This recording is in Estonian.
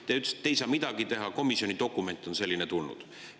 Te ütlesite, et te ei saa midagi teha, komisjonist on selline dokument tulnud.